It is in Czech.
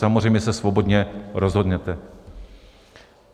Samozřejmě se svobodně rozhodněte.